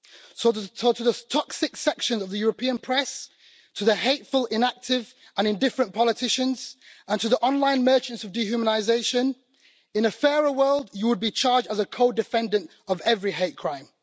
So to the toxic section of the European press, to the hateful, inactive and indifferent politicians, and to the online merchants of dehumanisation in a fairer world, you would be charged as a co defendant of every hate crime.